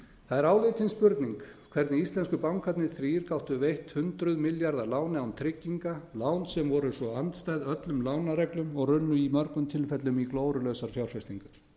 er áleitin spurning hvernig íslensku bankarnir þrír gátu veitt hundruð milljarða lán án trygginga lán sem voru svo andstæð öllum lánareglum og runnu í mörgum tilfellum í glórulausar fjárfestingar